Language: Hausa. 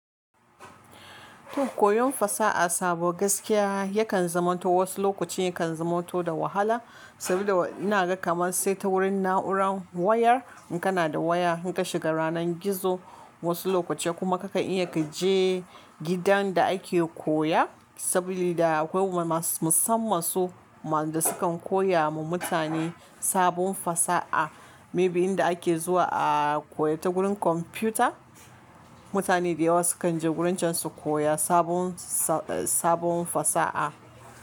To koyon fasaha sabo gaskiya yakan zamanto, wasu lokacin yakan zamanto da wahala. Sabida ina ga kamar sai ta wurin na'urar wayar, in kana da waya, in ka shiga ranar gizo wasu lokaci kuma kakan iya ka je gidan da ake koya, sabida akwai masu-musamman su masu-da sukan koya ma mutane sabon fasaha. Maybe inda ake zuwa a koya ta gurin kwamfuta, mutane da yawa sukan je gurin can su koya sabon sa-sabon fasaha.